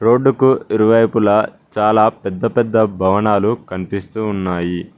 రోడ్డుకు ఇరువైపులా చాలా పెద్ద పెద్ద భవనాలు కన్పిస్తూ ఉన్నాయి.